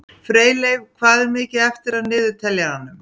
Freyleif, hvað er mikið eftir af niðurteljaranum?